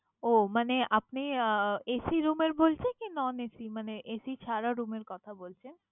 ওহ মানে আপনি আহ AC room এর বলছেন নাকি non AC মানে AC ছাড়া room এর কথা বলছেন?